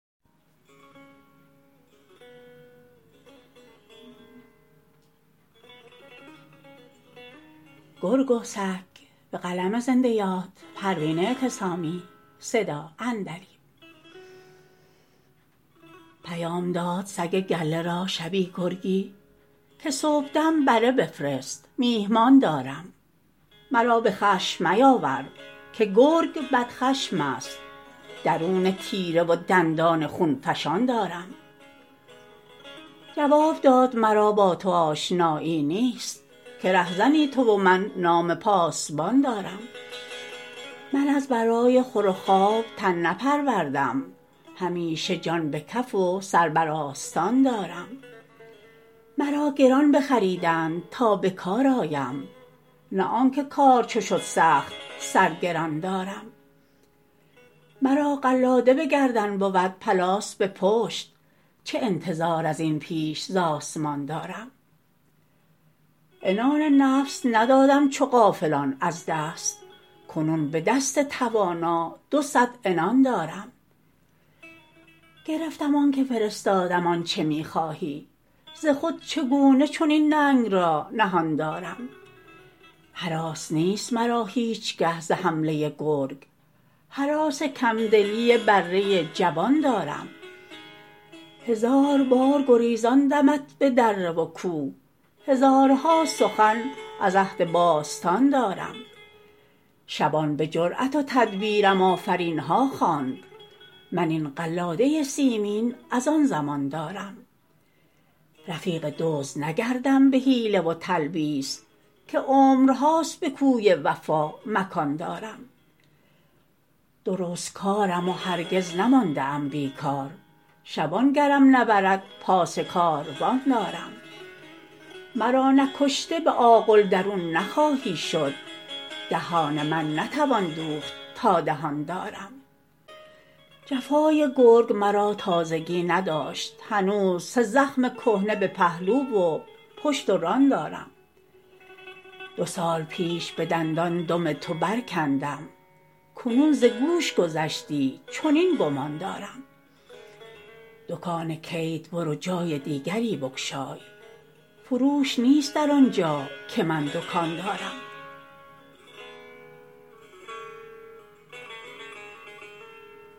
پیام داد سگ گله را شبی گرگی که صبحدم بره بفرست میهمان دارم مرا به خشم میاور که گرگ بدخشم است درون تیره و دندان خون فشان دارم جواب داد مرا با تو آشنایی نیست که رهزنی تو و من نام پاسبان دارم من از برای خور و خواب تن نپروردم همیشه جان به کف و سر بر آستان دارم مرا گران بخریدند تا بکار آیم نه آنکه کار چو شد سخت سر گران دارم مرا قلاده بگردن بود پلاس به پشت چه انتظار ازین بیش ز اسمان دارم عنان نفس ندادم چو غافلان از دست کنون بدست توانا دو صد عنان دارم گرفتم آنکه فرستادم آنچه میخواهی ز خود چگونه چنین ننگ را نهان دارم هراس نیست مرا هیچگه ز حمله گرگ هراس کم دلی بره جبان دارم هزار بار گریزاندمت به دره و کوه هزارها سخن از عهد باستان دارم شبان بجرات و تدبیرم آفرینها خواند من این قلاده سیمین از آن زمان دارم رفیق دزد نگردم بحیله و تلبیس که عمرهاست به کوی وفا مکان دارم درستکارم و هرگز نمانده ام بیکار شبان گرم نبرد پاس کاروان دارم مرا نکشته به آغل درون نخواهی شد دهان من نتوان دوخت تا دهان دارم جفای گرگ مرا تازگی نداشت هنوز سه زخم کهنه به پهلو و پشت و ران دارم دو سال پیش بدندان دم تو برکندم کنون ز گوش گذشتی چنین گمان دارم دکان کید برو جای دیگری بگشای فروش نیست در آنجا که من دکان دارم